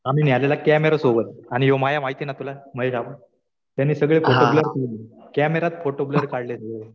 आम्ही नेलेला कॅमेरा सोबत. आणि ह्या बया माहितीये ना तुला, महिला. त्यांनी सगळे फोटो ब्लर काढले. कॅमेरात फोटो ब्लर काढले.